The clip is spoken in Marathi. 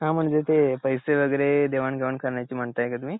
हा म्हणजे ते पैसे वगैरे देवाण घेवाण करण्याची म्हणताय का तुम्ही